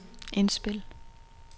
indspil